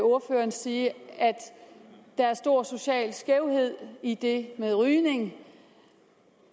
ordføreren sige at der er stor social skævhed i det med rygning